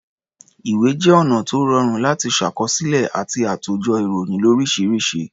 Ìwé jẹ́ ọ̀nà tó rọrùn láti ṣàkọsílẹ̀ àti àtòjọ ìròyìn lóríṣiríṣi.